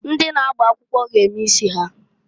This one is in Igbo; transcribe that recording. Ndị na-agba akwụkwọ g'eme isi ha..